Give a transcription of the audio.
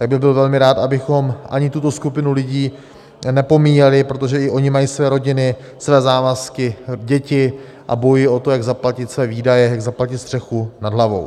Tak bych byl velmi rád, abychom ani tuto skupinu lidí nepomíjeli, protože i oni mají své rodiny, své závazky, děti a bojují o to, jak zaplatit své výdaje, jak zaplatit střechu nad hlavou.